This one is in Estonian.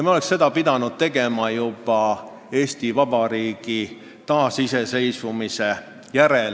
Me oleksime pidanud seda tegema juba vahetult Eesti Vabariigi taasiseseisvumise järel.